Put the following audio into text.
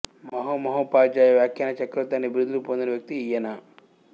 మహామహోపాధ్యాయ వ్యాఖ్యాన చక్రవర్తి అనే బిరుదులు పొందిన వ్యక్తి ఈయన